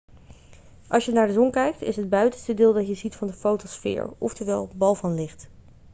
als je naar de zon kijkt is het buitenste deel dat je ziet de fotosfeer oftewel bal van licht'